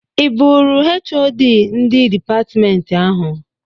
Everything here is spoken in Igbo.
I bụrụ HoD ndị dịpatmentị ahụ?